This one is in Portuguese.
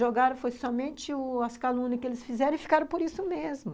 Jogaram, foi somente as calúnias que eles fizeram e ficaram por isso mesmo.